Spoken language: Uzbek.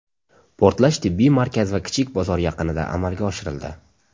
Portlash tibbiy markaz va kichik bozor yaqinida amalga oshirildi.